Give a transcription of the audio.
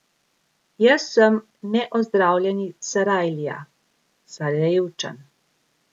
Jaz sem neozdravljeni Sarajlija, Sarajevčan.